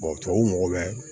tubabuw mago bɛ